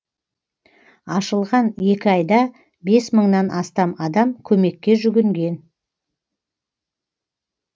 ашылған екі айда бес мыңнан астам адам көмекке жүгінген